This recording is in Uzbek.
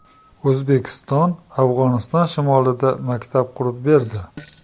O‘zbekiston Afg‘oniston shimolida maktab qurib berdi .